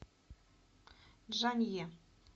чжанъе